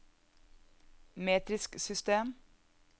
metrisk system